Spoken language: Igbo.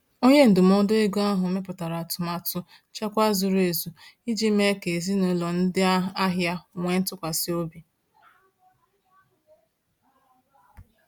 Onye ndụmọdụ ego ahụ mepụtara atụmatụ nchekwa zuru ezu iji mee ka ezinụlọ ndị ahịa nwee ntụkwasị obi.